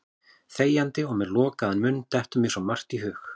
Þegjandi og með lokaðan munn dettur mér svo margt í hug.